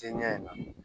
Tɛ ɲɛ in na